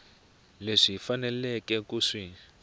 leswi hi faneleke ku swi